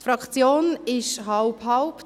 Die Fraktion ist halb-halb.